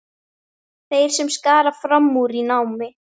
Þeir sem skara fram úr í námi.